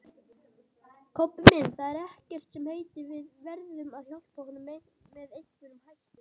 Kobbi minn, það er ekkert sem heitir, við verðum að hjálpa honum með einhverjum hætti